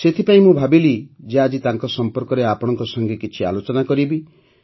ସେଇଥିପାଇଁ ମୁଁ ଭାବିଲି ଯେ ଆଜି ତାଙ୍କ ସମ୍ପର୍କରେ ଆପଣଙ୍କ ସଂଗେ କିଛି ଆଲୋଚନା କରିବି